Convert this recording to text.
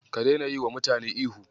Ka daina yiwa mutane ihu.